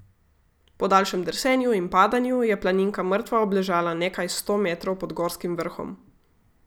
Po daljšem drsenju in padanju je planinka mrtva obležala nekaj sto metrov pod gorskim vrhom.